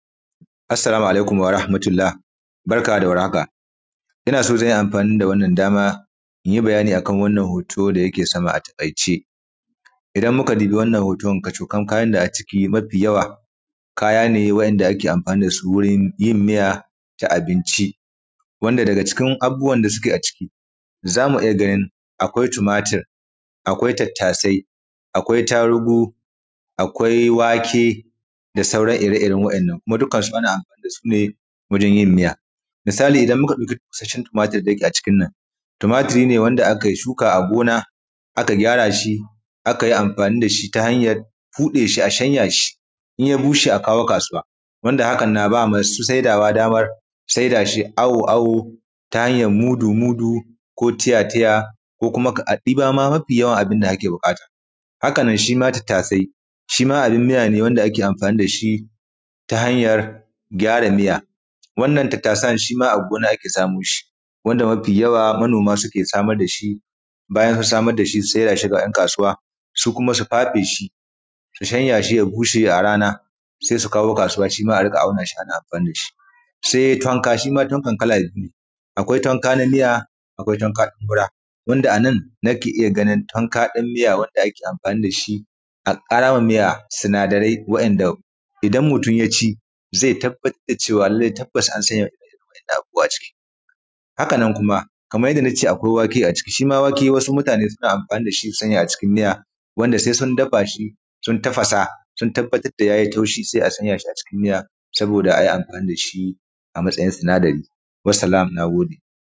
Assalamu alaikum warahmatullah barka da warhaka, ina so na yi amfani da wannan dama in yi bayani akan wannan hoto da yake sama. Atakaice in muka dubi wannan hotan kacoƙam kayan da a ciki mafi yawa kaya ne wanda ake amfani da su wurin yin miya ta abinci, wanda daga cikin abubuwan da suke a ciki za mu iya ganin akwai tumatur, akwai tattasai, akwai tarugu, akwai wake da sauran ire ire waɗannan. Kuma dukkansu ana amfani da su ne wajen yin miya, misali idan muka ɗauki busashshen tumatur wanda yake a cikin nan, tumatur ne wanda aka shuka a gona aka gyara shi, aka yi amfani da shi ta hanyar ɓude shi, a shanya shi in ya bushe a kawo kasuwa. Wanda hakan na ba ma masu saidawa daman saida shi awo-awo ta hanyar mudu-mudu ko tiya-tiya ko kuma aɗiba ma mafi yawa abun da kake buƙata, haka nan shi ma tattasai, shi ma abun miya ne wanda ake amfani da shi ta hanyar gyara miya wannan tattasan shi ma a gona ake samun shi wanda mafi yawa manoma suke samar da shi, bayan samar da shi sai a saida shi ga ‘yan kasuwa su kuma su fafe shi su shanya shi ya bushe a rana. Sai su kawo kasuwa shi ma a riƙa auna shi, ana amfani da shi, sai tankwa shi ma, tankwan kala biyu ne, akwai tankwa na miya, akwai tankwa na fura wanda a nan nake iya ganin tankwa ɗin miya wanda ake amfani da shi a ƙarawa ma miya sinadarai waɗanda idan mutum ya ci zai tabbatar da cewa lallai tabbas an sanya waɗannan abubuwa a ciki. Sannan kuma kaman yanda akwai wake a ciki shi ma wake wasu mutane suna amfani da shi su sanya a cikin miya wanda sai sun dafa shi sun tafasa, sun tabbatar da ya yi taushi sai a sanya shi a cikin miya sai a yi amfani da shi a matsayin sinadari. Salam, na gode.